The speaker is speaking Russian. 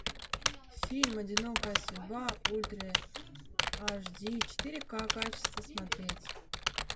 фильм одинокая судьба ультра аш ди четыре ка качество смотреть